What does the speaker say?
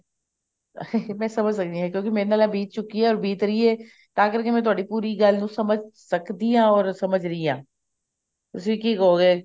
ਇਹ ਮੈਂ ਸਮਝ ਸਕਦੀ ਹਾਂ ਕਿਉਂਕਿ ਮੇਰੇ ਨਾਲ ਇਹ ਬੀਤ ਚੁੱਕੀ ਹੈ or ਬੀਤ ਰਹੀ ਹੈ ਤਾਂਕਿ ਮੈਂ ਤੁਹਾਡੀ ਪੂਰੀ ਗੱਲ ਨੂੰ ਸਮਝ ਸਕਦੀ ਹਾਂ or ਸਮਝ ਰਹੀ ਹਾਂ ਤੁਸੀਂ ਕੀ ਕਹੋਗੇ